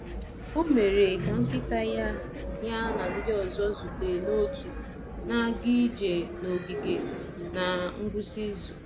Ọ mere ka nkịta ya ya na ndị ọzọ zute n’òtù na-aga ije n’ogige na ngwụsị izu.